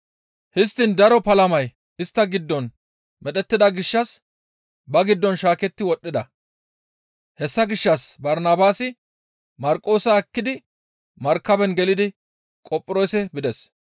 Histtiin daro palamay istta giddon medhettida gishshas ba giddon shaaketti wodhdhida; hessa gishshas Barnabaasi Marqoosa ekkidi markaben gelidi Qophiroose bides.